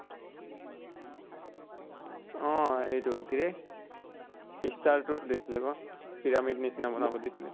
অহ এইটো কিৰে star তোৰ দিছিলে আকৌ, pyramid নিছিনা বনাব দিছিলে।